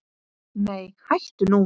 Nei hættu nú!